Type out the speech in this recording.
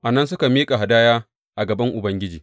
A nan suka miƙa hadaya a gaban Ubangiji.